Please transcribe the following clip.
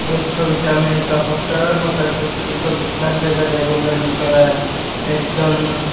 এই ছবিটা আমি একটা হোস্টেলের মত একটা ছোট বিছনা দেখা যায় রুমের ভেতরে একজন--